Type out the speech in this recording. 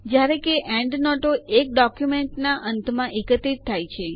જયારે કે એન્ડનોટો એક ડોક્યુંમેન્ટના અંતમાં એકત્રિત થાય છે